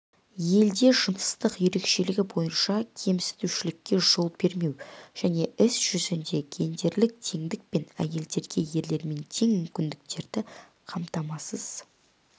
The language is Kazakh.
елде жыныстық ерекшелігі бойынша кемсітушілікке жол бермеу және іс жүзінде гендерлік теңдік пен әйелдерге ерлермен тең мүмкіндіктерді қамтамасыз